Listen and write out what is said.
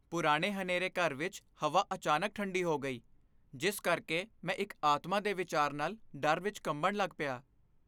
ਪੁਰਾਣੇ ਹਨੇਰੇ ਘਰ ਵਿੱਚ ਹਵਾ ਅਚਾਨਕ ਠੰਡੀ ਹੋ ਗਈ, ਜਿਸ ਕਰਕੇ ਮੈਂ ਇੱਕ ਆਤਮਾ ਦੇ ਵਿਚਾਰ ਨਾਲ ਡਰ ਵਿੱਚ ਕੰਬਣ ਲੱਗ ਪਿਆ।